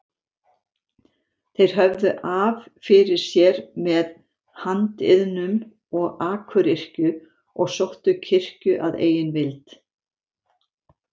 Þeir höfðu af fyrir sér með handiðnum eða akuryrkju og sóttu kirkju að eigin vild.